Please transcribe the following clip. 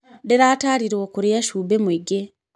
Ndĩratarirwo kũrĩa cumbĩ mwĩngĩ.